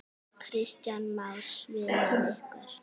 Kristján Már: Svimaði ykkur?